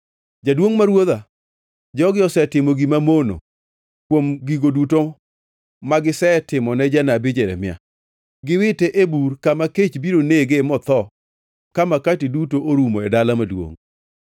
“Jaduongʼ ma ruodha, jogi osetimo gima mono kuom gigo duto magisetimone janabi Jeremia. Giwite e bur, kama kech biro nege motho ka makati duto orumo e dala maduongʼ.”